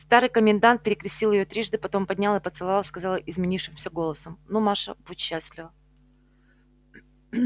старый комендант перекрестил её трижды потом поднял и поцеловав сказал изменившимся голосом ну маша будь счастлива